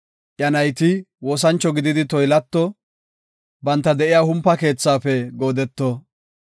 Iya nayti woosancho gididi toylato; banta de7iya humpa keethaafe goodeto.